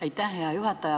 Aitäh, hea juhataja!